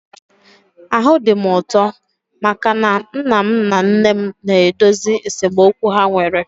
Ahụ dị m ụtọ maka na nna m na nne m na-edozi esemokwu ha nwere